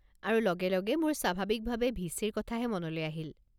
আৰু লগে লগে মোৰ স্বাভাৱিকভাৱে ভি.চি.-ৰ কথাহে মনলৈ আহিল।